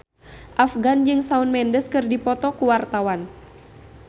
Afgan jeung Shawn Mendes keur dipoto ku wartawan